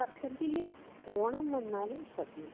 വീട്ടി വര്‍ഷത്തില് ഓണം വന്നാല് സദ്യ